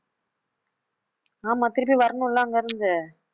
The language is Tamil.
ஆமா திருப்பி வரணும்ல அங்க இருந்து